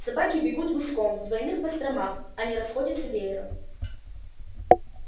собаки бегут гуськом в двойных постромках а не расходятся веером